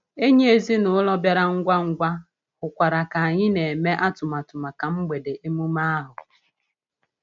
Enyi ezinụlọ bịara ngwa ngwa, hụkwara anyị ka anyị ka na-eme atụmatụ maka mgbede emume ahụ.